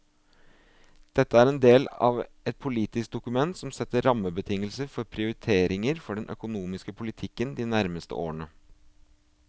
Dette er en del av et politisk dokument som setter rammebetingelser for prioriteringer for den økonomiske politikken de nærmeste årene.